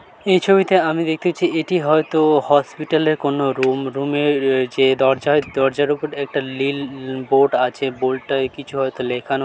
এই ছবিতে আমি দেখতে পাচ্ছি এটি হয়ত হসপিটাল -এর কোন রুম | রুম -এ রয়েছে দরজায় দরজার উপরে একটা লিল বোর্ড আছে| বোর্ডটায় কিছু হয়তো লেখানো--